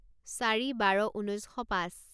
চাৰি বাৰ ঊনৈছ শ পাঁচ